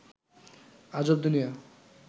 আজব দুনিয়া